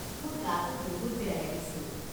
মোৰ গাটো বহুত বেয়া লাগিছিল।